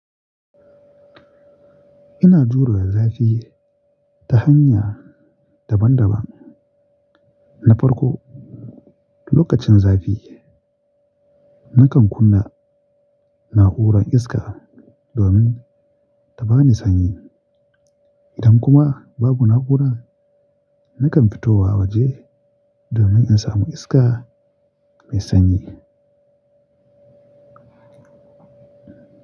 Ina jurewa zafi ta hanya daban-daban. Na farko, lokacin zafi nakan kunna na'urar iska domin ta ba ni sanyi. Idan kuma babu na'ura, nakan fito wa waje domin in samu iska mai sanyi.